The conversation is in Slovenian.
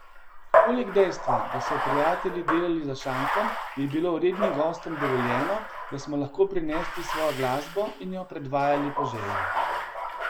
Poleg dejstva, da so prijatelji delali za šankom, je bilo rednim gostom dovoljeno, da smo lahko prinesli svojo glasbo in jo predvajali po želji.